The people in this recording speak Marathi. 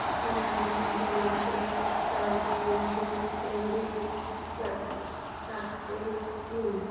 किती होईल दोनशे चौर्याऐंशी बेरीज सातशे तीस